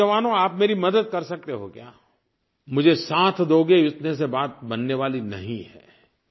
मेरे नौजवानो आप मेरी मदद कर सकते हो क्या मुझे साथ दोगे इतने से बात बनने वाली नहीं है